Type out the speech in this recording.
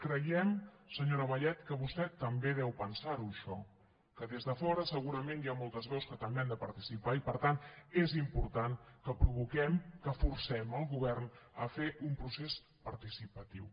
creiem senyora vallet que vostè també deu pensarho això que des de fora segurament hi ha moltes veus que també hi han de participar i per tant és important que provoquem que forcem el govern a fer un procés participatiu